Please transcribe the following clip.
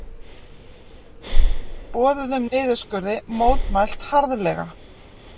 Boðuðum niðurskurði mótmælt harðlega